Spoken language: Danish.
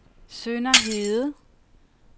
Sønderhede